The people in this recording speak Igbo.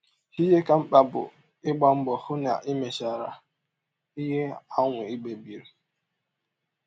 Ihe ka mkpa bụ ịgba mbọ hụ na i mechara ihe ahụ i kpebiri.